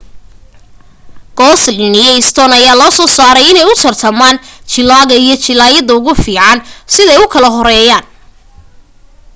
goslin iyo stone ayaa loo soo saaray inay u tartamaqn jilaaga iyo jilaayadda ugu fiican siday u kala horeeyaan